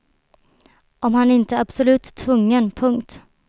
Om han inte är absolut tvungen. punkt